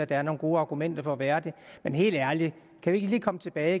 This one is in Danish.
der er nogle gode argumenter for at være det men helt ærligt kan vi ikke lige komme tilbage